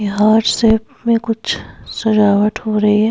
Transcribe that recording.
यहाँ हाट सेफ में कुछ सजावट हो रही है।